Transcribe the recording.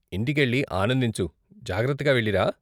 ఇంటికెళ్ళి ఆనందించు, జాగ్రత్తగా వెళ్లిరా.